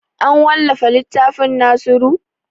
An wallafa littafin nasiru?